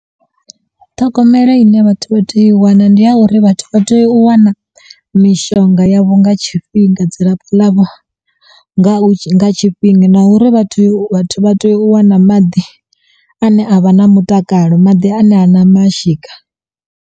Ṱhogomelo i ne vhathu vha teyo u i wana ndi ha uri vhathu vha teyo u wana mishonga yavho nga tshifhinga dzilafho ḽavho nga tshifhinga na uri vha teyo vhathu vha teyo u wana maḓi ane a vha na mutakalo maḓi ane hana mashika.